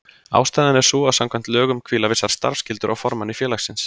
Ástæðan er sú að samkvæmt lögum hvíla vissar starfsskyldur á formanni félagsins.